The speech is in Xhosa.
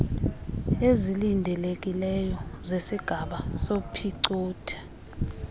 ezilindelekileyo zesigaba sophicotho